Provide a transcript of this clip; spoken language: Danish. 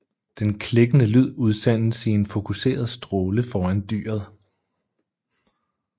Den klikkende lyd udsendes i en fokuseret stråle foran dyret